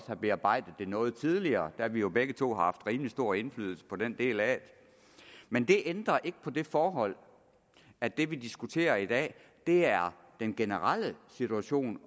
have bearbejdet dem noget tidligere da vi jo begge to har haft rimelig stor indflydelse på den del af det men det ændrer ikke på det forhold at det vi diskuterer i dag er den generelle situation